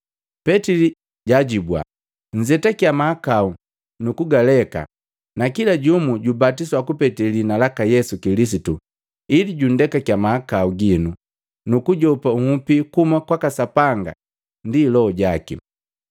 Petili jajibua, “Nzetakia mahakau nukugaleka na kila jumu jubatiswa kupete liina laka Yesu Kilisitu ili junndekakiya mahakau ginu nukujopa nhupi kuhuma kwaka Sapanga ndi Loho jaki.